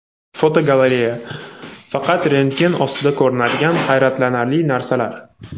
Fotogalereya: Faqat rentgen ostida ko‘rinadigan hayratlanarli narsalar.